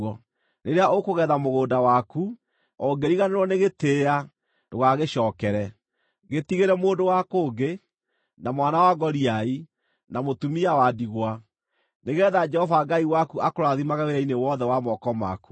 Rĩrĩa ũkũgetha mũgũnda waku, ũngĩriganĩrwo nĩ gĩtĩĩa, ndũgagĩcookere. Gĩtigĩre mũndũ wa kũngĩ, na mwana wa ngoriai, na mũtumia wa ndigwa, nĩgeetha Jehova Ngai waku akũrathimage wĩra-inĩ wothe wa moko maku.